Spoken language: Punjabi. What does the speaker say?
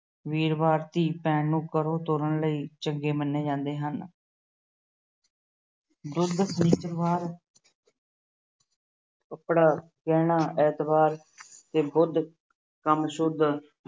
ਵੀਰਵਾਰ ਧੀ ਭੈਣ ਨੂੰ ਘਰੋਂ ਤੋਰਨ ਲਈ ਚੰਗੇ ਮੰਨੇ ਜਾਂਦੇ ਹਨ। ਬੁੱਧ ਸ਼ਨਿਚਰਵਾਰ ਕੱਪੜਾ, ਗਹਿਣਾ ਐਤਵਾਰ, ਤੇ ਬੁੱਧ ਕੰਮ ਸ਼ੁੱਧ